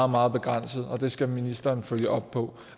meget begrænset og det skal ministeren følge op på